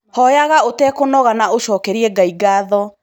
Hoyaga ũtekũnoga na ũcokerie Ngai ngatho.